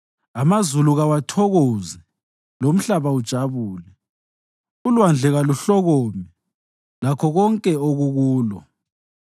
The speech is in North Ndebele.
Amazulu kawathokoze, lomhlaba ujabule; ulwandle kaluhlokome, lakho konke okukulo;